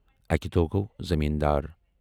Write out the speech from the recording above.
اکہِ دۄہ گوٚو زٔمیٖن دار،